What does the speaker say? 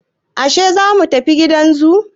Yashe zamu tafi gidan zoo?